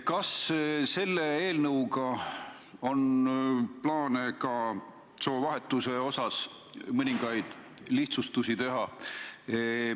Kas selle eelnõuga on plaanis ka soovahetuse osas mõningaid lihtsustusi teha?